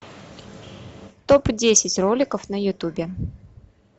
топ десять роликов на ютубе